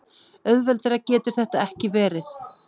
Auðveldara getur þetta ekki verið.